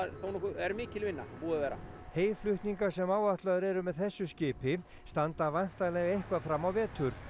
er mikil vinna búið að vera heyflutningar sem áætlaðir eru með þessu skipi standa væntanlega eitthvað fram á vetur